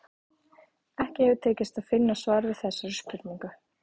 Ekki hefur tekist að finna svar við þessari spurningu.